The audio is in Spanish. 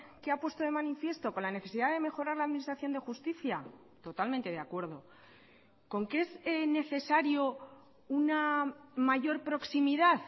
que ha puesto de manifiesto con la necesidad de mejorar la administración de justicia totalmente de acuerdo con que es necesario una mayor proximidad